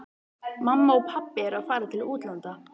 Mamma og pabbi eru að fara til útlanda.